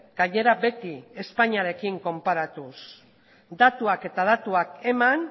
gainera beti espainiarekin konparatuz datuak eta datuak eman